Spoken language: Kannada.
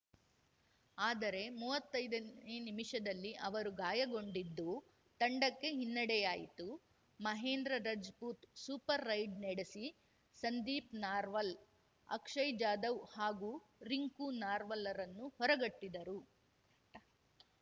ಆದರೆ ಮುವತ್ತೈದನೇ ನಿಮಿಷದಲ್ಲಿ ಅವರು ಗಾಯಗೊಂಡಿದ್ದು ತಂಡಕ್ಕೆ ಹಿನ್ನಡೆಯಾಯಿತು ಮಹೇಂದ್ರ ರಜಪೂತ್‌ ಸೂಪರ್‌ ರೈಡ್‌ ನಡಸಿ ಸಂದೀಪ್‌ ನಾರ್ವಲ್‌ ಆಕ್ಷಯ್‌ ಜಾಧವ್‌ ಹಾಗೂ ರಿಂಕು ನಾರ್ವಲ್‌ರನ್ನು ಹೊರಗಟ್ಟಿದರು